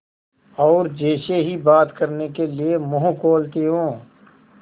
और जैसे ही बात करने के लिए मुँह खोलती हूँ